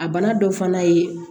A bana dɔ fana ye